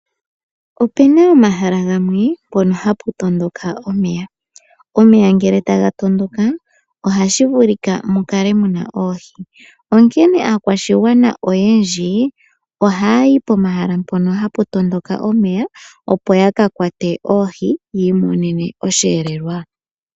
Opena omahala gamwe mpono hapu tondoka omeya. Omeya ngele taga tondoka , oha shi vulika mu kale muna oohi . Onkene aakwashigwana oyendji , ohaya yi pomahala mpono hamu tondoka omeya opo ya ka kwate oohi , yi imonene osheelelwa.